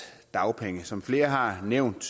af dagpengene som flere har nævnt